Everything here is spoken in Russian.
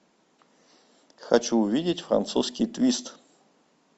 хочу увидеть французский твист